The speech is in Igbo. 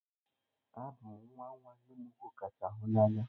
Abụ m nwa nwa nnem ụkwụ kacha hụ na anya.